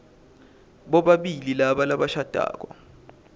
bobabili laba labashadako